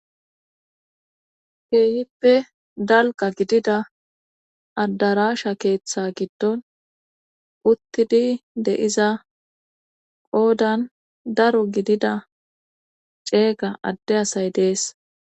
keehippe dalqa gidida adarasha keeththe giddon uttidi deiza qoodan daro gidida ceega adde asay dees